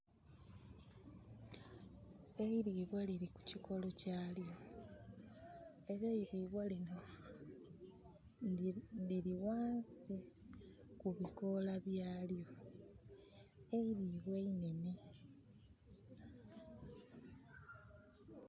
Eiribwa liri kukikolo kyalyo era eiribwa linho liri ghansi kubikola bya lyo, eiribwa inhenhe.